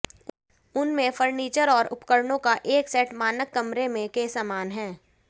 उन में फर्नीचर और उपकरणों का एक सेट मानक कमरे में के समान है